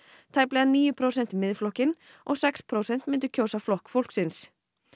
tæplega níu prósent Miðflokkinn og sex prósent myndu kjósa Flokk fólksins